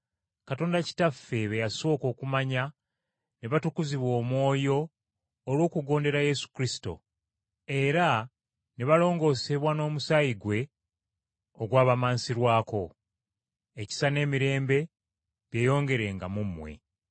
Katonda Kitaffe be yasooka okumanya ne batukuzibwa Omwoyo olw’okugondere Yesu Kristo, era ne balongoosebwa n’omusaayi ggwe, ogwabamansirwako. Ekisa n’emirembe byeyongerenga mu mmwe.